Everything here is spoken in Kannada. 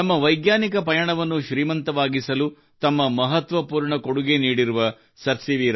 ನಮ್ಮ ವೈಜ್ಞಾನಿಕ ಪಯಣವನ್ನು ಶ್ರೀಮಂತವಾಗಿಸಲು ತಮ್ಮ ಮಹತ್ವಪೂರ್ಣ ಕೊಡುಗೆ ನೀಡಿರುವ ಸಿ